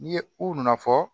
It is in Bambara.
N'i ye ko na fɔ